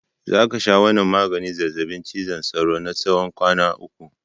Za ka sha wannan maganin zazzabin cizon sauron na tsawon kwana uku!